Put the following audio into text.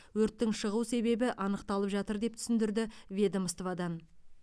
өрттің шығу себебі анықталып жатыр деп түсіндірді ведомстводан